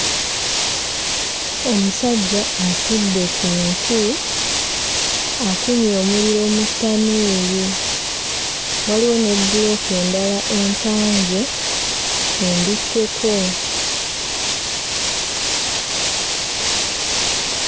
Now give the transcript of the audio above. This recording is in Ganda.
Omusajja atudde ku nku, akumye omuliro mu ttanuulu, waliwo ne bbulooka endala empange embikeko.